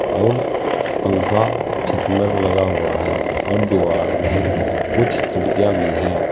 और पंखा छत में लगा हुआ है और दीवार में कुछ खिड़कियां भी हैं।